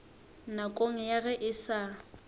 nakong ya ge e sa